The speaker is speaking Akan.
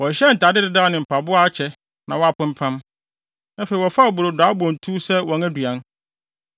Wɔhyehyɛɛ ntade dedaw ne mpaboa a akyɛ na wɔapempam. Afei wɔfaa brodo a abɔ ntuw sɛ wɔn aduan.